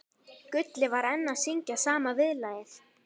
Gulli var enn að syngja sama viðlagið.